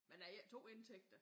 Men er I ikke 2 indtægter?